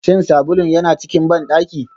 Shin sabulun yana cikin bandaki?